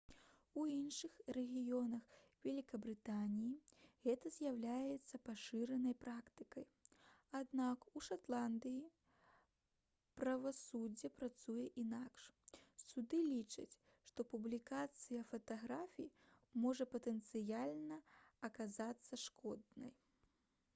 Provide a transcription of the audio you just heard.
у іншых рэгіёнах вялікабрытаніі гэта з'яўляецца пашыранай практыкай аднак у шатландыі правасуддзе працуе інакш суды лічаць што публікацыя фатаграфій можа патэнцыяльна аказацца шкоднай